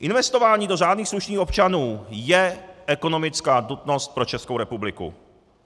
Investování do řádných slušných občanů je ekonomická nutnost pro Českou republiku.